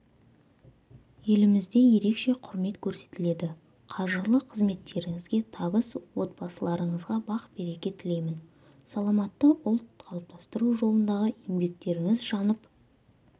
елімізде ерекше құрмет көрсетіледі қажырлы қызметтеріңізге табыс отбасыларыңызға бақ-береке тілеймін саламатты ұлт қалыптастыру жолындағы еңбектеріңіз жанып